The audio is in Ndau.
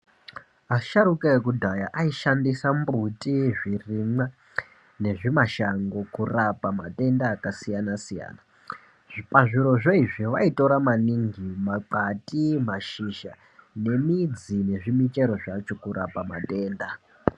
Asharuka ekudhaya aishandisa mbuti, zvirimwa nezvimashango kurapa matenda akasiyana siyana. Pazvirozvo i,vo vaitora maingi makwati, mashizha, nemidzi nezvimichero zvacho kurapa matenda.